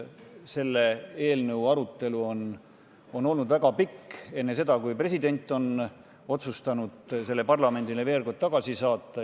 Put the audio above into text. Selle eelnõu arutelu on olnud väga pikk juba enne seda, kui president otsustas selle parlamendile tagasi saata.